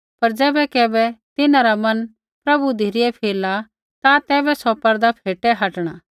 पर ज़ैबै कैबै तिन्हां रा मन प्रभु धिरै फिरला ता तैबै सौ पर्दा फेटै हटणा